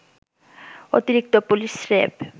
অতিরিক্ত পুলিশ-র‌্যাব